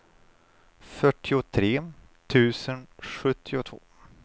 fyrtiotre tusen sjuttiotvå